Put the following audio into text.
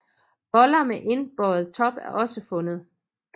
Boller med indbøjet top er også fundet